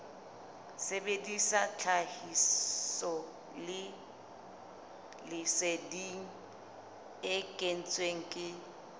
sebedisa tlhahisoleseding e kentsweng ke